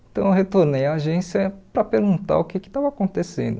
Então eu retornei à agência para perguntar o que que estava acontecendo.